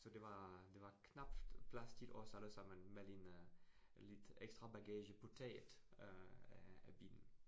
Så det var, det var knapt plads til os allesammen med øh lidt ekstra bagage på taget øh af af bilen